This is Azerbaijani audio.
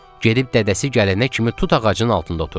Gedib dədəsi gələnə kimi tut ağacının altında oturdu.